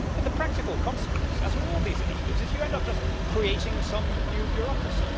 For the practical consequence, as with all these initiatives, is you end up just creating some new bureaucracy.